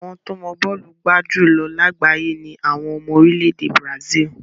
Àwọn tó mọ bọ́ọ̀lù gbá jù lọ lágbàáyé ni àwọn ọmọ orílẹ̀ èdè Brazil.